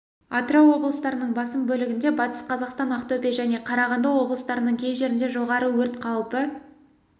атырау облыстарының басым бөлігінде батыс қазақстан ақтөбе және қарағанды облыстарының кей жерінде жоғары өрт қаупі